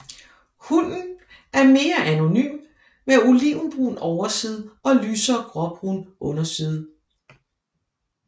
Hunnen er mere anonym med olivenbrun overside og lysere gråbrun underside